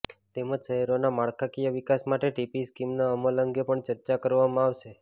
તેમજ શહેરોના માળખાકીય વિકાસ માટે ટીપી સ્કીમના અમલ અંગે પણ ચર્ચા કરવામાં આવશે